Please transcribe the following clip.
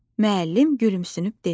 Müəllim gülümsünüb dedi: